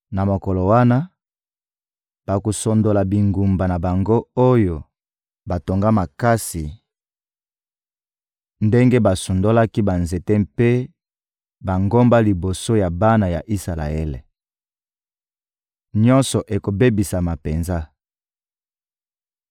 Na mokolo wana, bakosundola bingumba na bango oyo batonga makasi ndenge basundolaki banzete mpe bangomba liboso ya bana ya Isalaele. Nyonso ekobebisama penza.